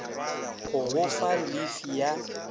go go fa llifi ya